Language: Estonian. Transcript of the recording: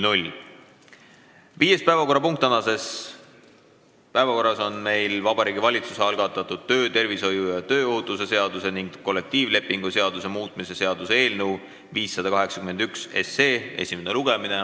Viies päevakorrapunkt on Vabariigi Valitsuse algatatud töötervishoiu ja tööohutuse seaduse ning kollektiivlepingu seaduse muutmise seaduse eelnõu 581 esimene lugemine.